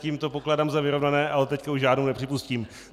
Tím to pokládám za vyrovnané, ale teď už žádnou nepřipustím.